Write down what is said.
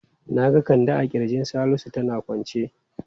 Na ga Kande a kirjin Salisu tana kwance.